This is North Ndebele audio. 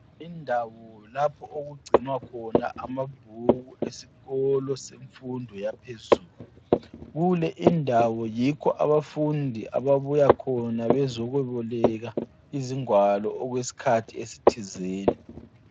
Indawo lapho okugcinwa khona amabhuku esikolo semfundo yaphezulu. Kule indawo yikho abafundi ababuya khona bezoboleka izingwalo okwesikhathi esithizeni.